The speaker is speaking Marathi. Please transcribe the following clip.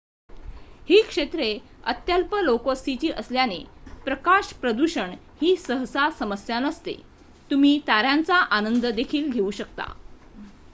ही क्षेत्रे अत्यल्प लोकवस्तीची असल्याने प्रकाश प्रदूषण ही सहसा समस्या नसते तुम्ही तार्‍यांचा आनंद देखील घेऊ शकता